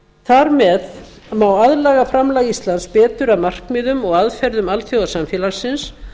þar með má aðlaga framlag íslands betur að markmiðum og aðferðum alþjóðasamfélagsins